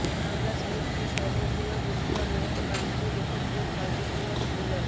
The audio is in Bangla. বাংলা সাহিত্যের সর্ববৃহৎ উৎসব এবং বাঙালি লেখকদের সর্ববৃহৎ মিলন